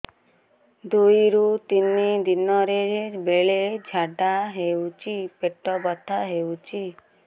ଦୁଇରୁ ତିନି ଦିନରେ ବେଳେ ଝାଡ଼ା ହେଉଛି ପେଟ ବଥା ହେଉଛି